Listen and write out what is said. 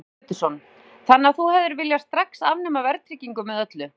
Heimir Már Pétursson: Þannig að þú hefðir viljað strax afnema verðtryggingu með öllu?